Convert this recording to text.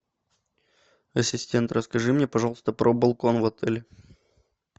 ассистент расскажи мне пожалуйста про балкон в отеле